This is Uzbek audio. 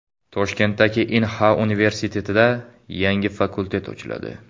Toshkentdagi Inha universitetida yangi fakultet ochiladi.